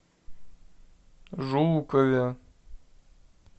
жукове